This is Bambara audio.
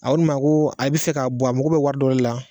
A ko ne ma ko a bi fɛ ka bɔ a mago bi wari dɔ de la